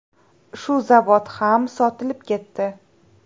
Shu zavod ham sotilib ketdi.